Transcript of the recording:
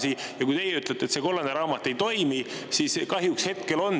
Ja kui teie ütlete, et see kollane raamat ei toimi, siis kahjuks hetkel on nii.